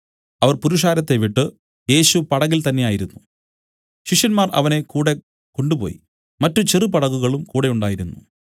അവർ പുരുഷാരത്തെ വിട്ടു യേശു പടകിൽ തന്നേയായിരുന്നു ശിഷ്യന്മാർ അവനെ കൂടെ കൊണ്ടുപോയി മറ്റു ചെറുപടകുകളും കൂടെ ഉണ്ടായിരുന്നു